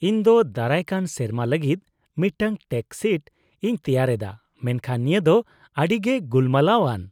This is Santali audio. -ᱤᱧ ᱫᱚ ᱫᱟᱨᱟᱭᱠᱟᱱ ᱥᱮᱨᱢᱟ ᱞᱟᱹᱜᱤᱫ ᱢᱤᱫᱴᱟᱝ ᱴᱮᱠᱥ ᱥᱤᱴ ᱤᱧ ᱛᱮᱭᱟᱨ ᱮᱫᱟ, ᱢᱮᱱᱠᱷᱟᱱ ᱱᱤᱭᱟᱹ ᱫᱚ ᱟᱹᱰᱤᱜᱮ ᱜᱩᱞᱢᱟᱞᱟᱣᱼᱟᱱ ᱾